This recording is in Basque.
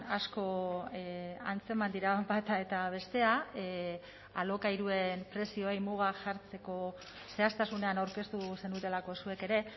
asko antzeman dira bata eta bestea alokairuen prezioei muga jartzeko zehaztasunean aurkeztu zenutelako zuek ere